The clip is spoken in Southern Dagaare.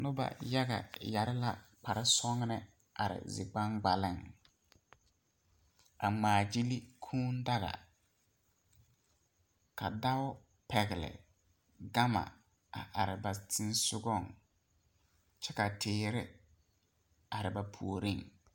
Noba yaga yɛre la kparesɔglɔ are zigbaŋgbaleŋ a ŋmaagyili kuu daga ka dɔɔ pɛgle gama a are ba seŋsogleŋ kyɛ ka teere are ba puoriŋ.